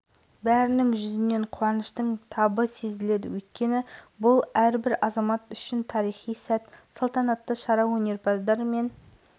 төрткүл дүниенің назары ауып отырған универсиада алауы бүгін шымкентке жетті қазақ жеріндегі дүбірлі доданың басты шам-шырағын оңтүстік жұрты құрметпен қарсы алды